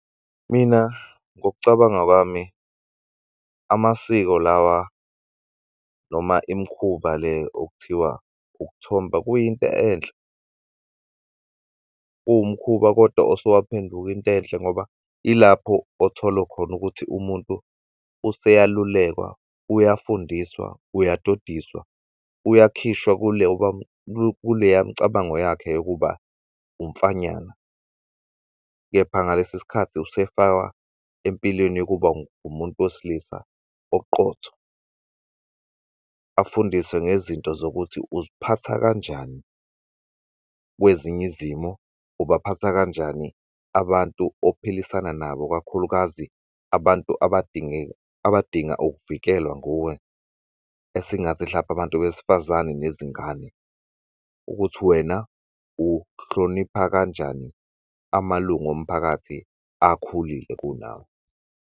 Mina ngokucabanga kwami amasiko lawa noma imikhuba le okuthiwa ukuthomba kuyinto enhle kuwumkhuba kodwa osewaphenduk' intwenhle ngoba ilapho othola khona ukuthi umuntu useyalulekwa, uyafundiswa, uyadodiswa, uyakhishwa kuleya mcabango yakhe yokuba umfanyana. Kepha ngalesi sikhathi usefaka empilweni yokuba umuntu wesilisa oqotho afundiswe ngezinto zokuthi uziphatha kanjani kweziny'izimo, ubaphatha kanjani abantu ophilisana nabo kakhulukazi abantu abadinga ukuvikelwa nguwe esingathi hlampe abantu besifazane nezingane ukuthi wena uhlonipha kanjani amalung'omphakathi akhulile kunawe.